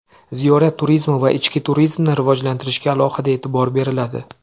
Ziyorat turizmi va ichki turizmni rivojlantirishga alohida e’tibor beriladi.